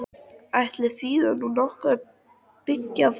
Ætli þýði nú nokkuð að byggja þarna?